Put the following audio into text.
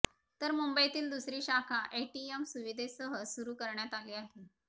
तर मुंबईतील दुसरी शाखा एटीएम सुविधेसह सुरू करण्यात आली आहे